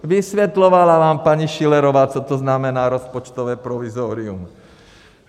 Vysvětlovala vám paní Schillerová, co to znamená rozpočtové provizorium.